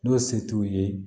N'o se t'u ye